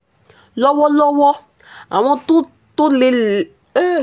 lọ́wọ́lọ́wọ́ àwọn tó tó lé è um